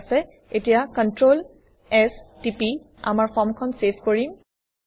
ঠিক আছে এতিয়া কন্ট্ৰল S টিপি আমাৰ ফৰ্মখন চেভ কৰিম